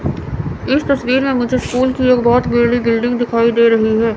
इस तस्वीर में मुझे स्कूल की एक बहोत बड़ी बिल्डिंग दिखाई दे रही है।